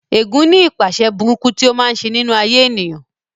Ẹ̀gún ní ipaṣẹ̀ burúkú tí ó máa ń ṣe nínú ayé ènìyàn